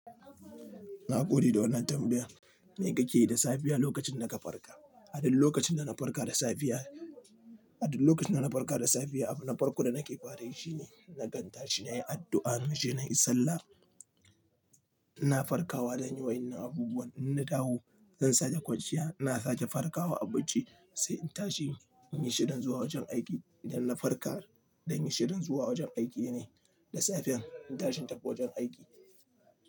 Na gode da wannan tambayan, me kake yi da safiya lokacin da ka farka? A duk lokacin da na farka da safiya, A duk lokacin da na farka da safiya, abu na farko da nake fare yi shine, nakan tashi ne yi addu'a, naje na yi sallah, ina farkawa da yin wayan abubuwan, in na dawo zan sake kwanciya, ina sake farkawa abarci, sai in tashi in yi shirin zuwa wajen aiki. Idan na farka, dan yi shirin zuwa wajen aiki ne. Da safen, in tashi n' tafi wajen aiki.